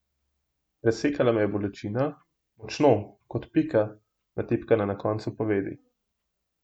Presekala me je bolečina, močno, kot pika, natipkana na koncu povedi.